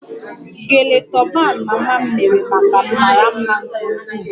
Gele toban mama m mere maka m mara mma nke ukwuu